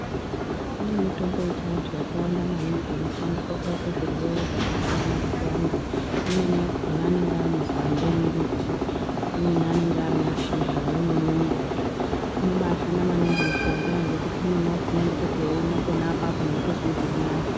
Kune mitombo yechiantu yakawanda maningi inoshandiswe kurape zvirwere zvakasiyana siyana. Imweni yakhona anenge ari makwande emiti, imweni anenge arimashizha, imweni inobaashanda maningi mishonga ngekuti umweni wakhona unototi weumwa panaapapo weitozwe zvirinani.